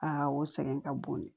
o sɛgɛn ka bon dɛ